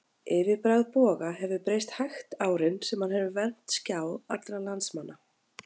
Yfirbragð Boga hefur breyst hægt árin sem hann hefur vermt skjá allra landsmanna.